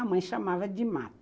A mãe chamava de mato.